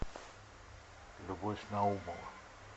любовь наумова